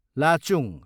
Lachung